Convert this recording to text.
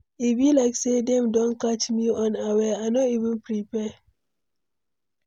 E be like say dem don catch me unaware, I no even prepare.